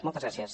moltes gràcies